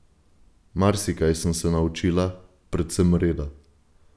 Marsikaj sem se naučila, predvsem reda.